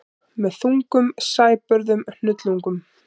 Með þungum sæbörðum hnullungum.